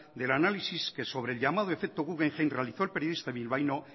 del análisis que sobre el llamado efecto guggenheim realizó el periodista bilbaíno